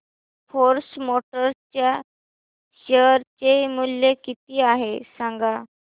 force Motors च्या share चे मूल्य किती आहे सांगा